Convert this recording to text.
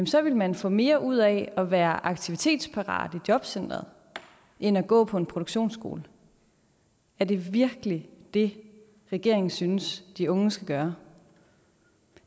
så ville man få mere ud af at være aktivitetsparat i jobcenteret end at gå på en produktionsskole er det virkelig det regeringen synes de unge skal gøre